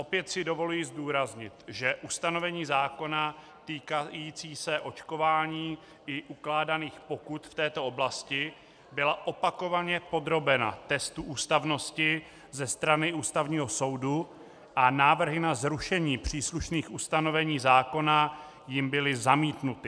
Opět si dovoluji zdůraznit, že ustanovení zákona týkající se očkování i ukládaných pokut v této oblasti byla opakovaně podrobena testu ústavnosti ze strany Ústavního soudu a návrhy na zrušení příslušných ustanovení zákona jím byly zamítnuty.